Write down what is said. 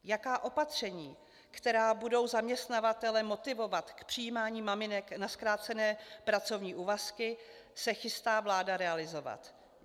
Jaká opatření, která budou zaměstnavatele motivovat k přijímání maminek na zkrácené pracovní úvazky, se chystá vláda realizovat?